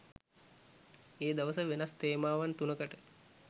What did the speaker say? ඒ දවස වෙනස් තේමාවන් තුනකට